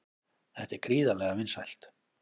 Þetta er gríðarlega vinsælt